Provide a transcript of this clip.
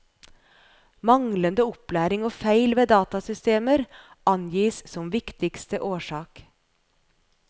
Manglende opplæring og feil ved datasystemer angis som viktigste årsak.